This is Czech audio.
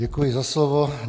Děkuji za slovo.